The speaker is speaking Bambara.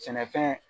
Sɛnɛfɛn